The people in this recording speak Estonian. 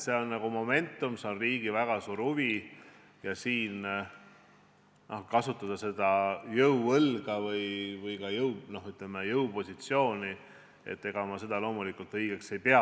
Siin on riigil väga suur huvi ja kasutada selles asjas jõuõlga või, ütleme, jõupositsiooni – ega ma seda loomulikult õigeks ei pea.